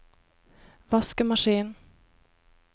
vaskemaskin